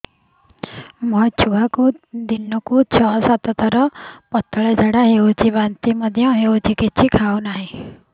ମୋ ଛୁଆକୁ ଦିନକୁ ଛ ସାତ ଥର ପତଳା ଝାଡ଼ା ହେଉଛି ବାନ୍ତି ମଧ୍ୟ ହେଉଛି କିଛି ଖାଉ ନାହିଁ